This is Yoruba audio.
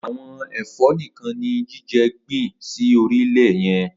Awọn ẹ̀fộ nikàn ni Jide gbin si óri ilẹ yẹn